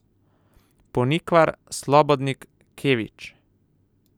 Ponikvar, Slobodnik, Kević.